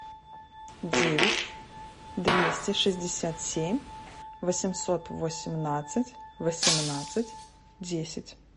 девять двести шестьдесят семь восемьсот восемнадцать восемнадцать десять